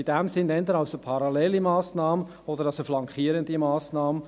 In diesem Sinn ist es eher eine parallele Massnahme oder eine flankierende Massnahme.